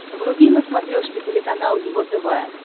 вруби на смотрешке телеканал его тв